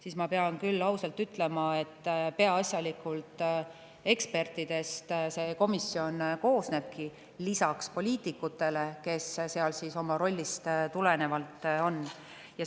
" Siin ma pean küll ausalt ütlema, et peaasjalikult ekspertidest see komisjon koosnebki, lisaks poliitikutele, kes seal oma rollist tulenevalt on.